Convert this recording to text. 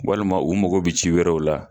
Walima u mago bɛ ci wɛrɛw la.